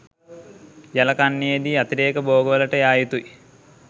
යල කන්නයේදී අතිරේක භෝගවලට යා යුතුයි